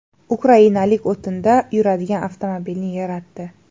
Ukrainalik o‘tinda yuradigan avtomobilni yaratdi .